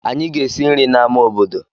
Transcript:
Anyị ga-esi nri n'amá obodo.